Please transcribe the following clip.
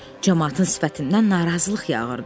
Camaatın sifətindən narazılıq yağırdı.